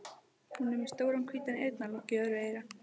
Hún er með stóran hvítan eyrnalokk í öðru eyra.